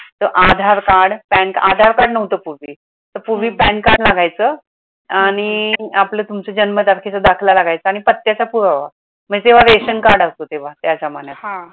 तर Aadhaar card pan Aadhaar card नव्हत पूर्वी तर पूर्वी pan card लागयच आणि आपला तुमचा जन्म तारखेचा दाखला लागायचा आणि पत्त्याचा पुरावा, मग तेव्हा रेशन card राहायचं तेव्हा त्या जमान्यात